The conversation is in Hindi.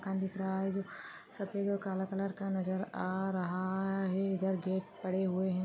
मकान दिख रहा है जो सफेद और काला कलर का नजर आ-अ रहा है इधर गेट पड़े हुए हैं।